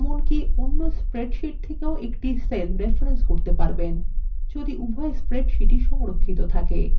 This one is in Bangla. অন্য spreadsheets থেকেও একটি cell রেফরেন্স করতে পারবেন যদি উভই spreadsheets সংরক্ষিত থাকে